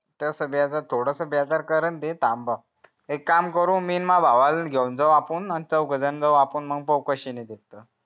थांब एक काम करू मी अन मजा भावाला घेऊन जाऊ आपुन आणि चौघ जाऊ आपण मी पाहू कषे नाही देत